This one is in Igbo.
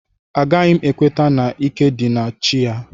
Agaghị m ekweta na ike dị na chi a